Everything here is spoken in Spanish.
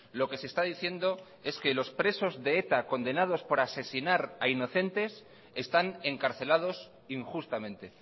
lo que se está diciendo es que los presos de eta condenados por asesinar a inocentes están encarcelados injustamente